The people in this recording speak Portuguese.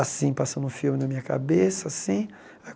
assim, passando um filme na minha cabeça, assim.